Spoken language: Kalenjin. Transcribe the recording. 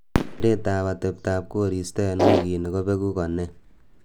kereet ab atebtab koristo en wigit kobegu ko nee